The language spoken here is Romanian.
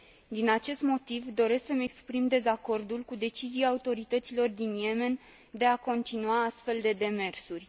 Din acest motiv doresc să mi exprim dezacordul cu decizia autorităților din Yemen de a continua astfel de demersuri.